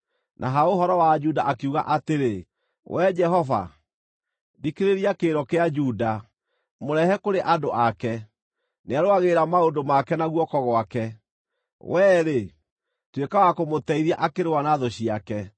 Na ha ũhoro wa Juda akiuga atĩrĩ, “Wee Jehova, thikĩrĩria kĩrĩro kĩa Juda; mũrehe kũrĩ andũ ake. Nĩarũagĩrĩra maũndũ make na guoko gwake. Wee-rĩ, tuĩka wa kũmũteithia akĩrũa na thũ ciake.”